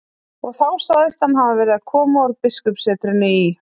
Og þá sagðist hann hafa verið að koma úr biskupssetrinu í